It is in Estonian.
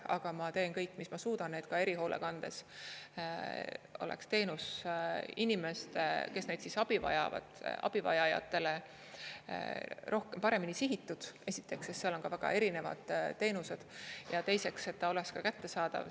Aga ma teen kõik, mis ma suudan, et ka erihoolekandes oleks teenus inimestele, kes abi vajavad, abivajajatele paremini sihitud, esiteks, sest seal on ka väga erinevad teenused, ja teiseks, et ta oleks kättesaadav.